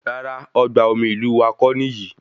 Rárá, ọgbà omi ìlú wá kò níyì